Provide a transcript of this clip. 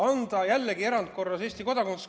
Anda jällegi erandkorras Eesti kodakondsus.